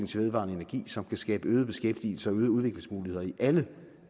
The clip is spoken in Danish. til vedvarende energi som kan skabe øget beskæftigelse og øgede udviklingsmuligheder i alle